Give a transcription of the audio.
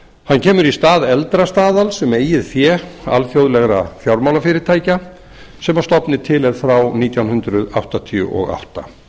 hann kemur í stað eldra staðals um eigið fé alþjóðlegra fjármálafyrirtækja sem að stofni til er frá nítján hundruð áttatíu og átta